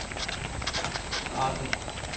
Thi Rahbek